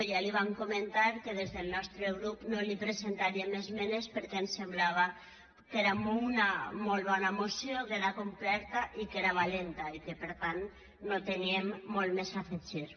ja li vam comentar que des del nostre grup no li presentaríem esmenes perquè ens semblava que era una molt bona moció que era completa i que era valenta i que per tant no teníem molt més a afegir